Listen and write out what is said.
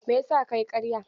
Mai yasa kayi ƙarya?